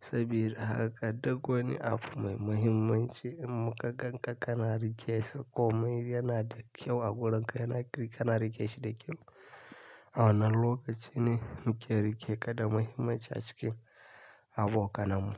Sabida haka duk wani abu mai muhimmanci muka gan ka ka na rike sa ko mai yana da kyau a wurin ka, yana ka na rike shi da kyau. A wannan lokaci ne mu ke rike ka da muhimmanci a cikin abokananmu.